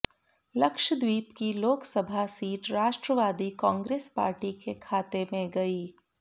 लक्षद्वीप की Lok Sabha seat Rashtravadi Congress Party के खाते में गई